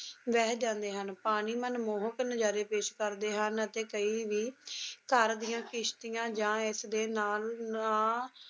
ਬਹਿ ਜਾਂਦੇ ਹਨ, ਪਾਣੀ ਮਨਮੋਹਕ ਨਜ਼ਾਰੇ ਪੇਸ਼ ਕਰਦੇ ਹਨ ਤੇ ਕਈ ਵੀ ਦੀ ਕਿਸ਼ਤੀਆਂ ਜਾਂ ਇਸ ਦੇ ਨਾਲ ਨਾ